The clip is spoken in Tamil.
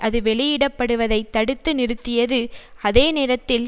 அது வெளியிடப்படுவதைத் தடுத்து நிறுத்தியது அதே நேரத்தில்